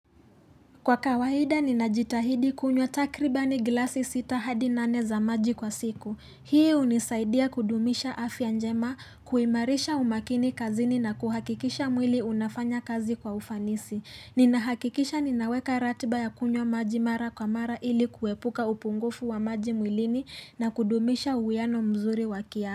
Kwa kawaida ninajitahidi kunywa takribani glasi sita hadi nane za maji kwa siku. Hii unisaidia kudumisha afya njema kuimarisha umakini kazini na kuhakikisha mwili unafanya kazi kwa ufanisi. Ninahakikisha ninaweka ratiba ya kunywa maji mara kwa mara ili kuepuka upungufu wa maji mwilini na kudumisha uwiano mzuri wakia.